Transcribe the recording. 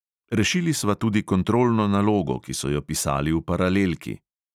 Rešili sva tudi kontrolno nalogo, ki so jo pisali v paralelki.